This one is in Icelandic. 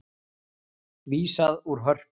Vísað úr Hörpu